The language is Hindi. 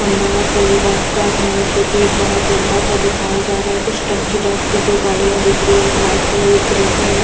खम्बा या पूल टाइप का है जो की बहुत लम्बा सा दिखाई जा रहा है कुछ टंकी टाइप की दो गाड़ीयाँ दिख रही है एक वाइट कलर मे एक ग्रे कलर मे।